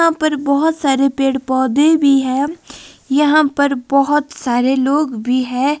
यहां पर बहुत सारे पेड़ पौधे भी है यहां पर बहुत सारे लोग भी है।